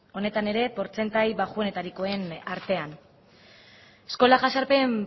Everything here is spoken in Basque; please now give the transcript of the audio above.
honetan ere portzentaje baxuenetarikoen artean eskola jazarpen